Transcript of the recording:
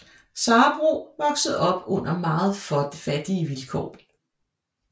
Sabroe voksede op under meget fattige vilkår